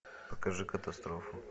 покажи катастрофу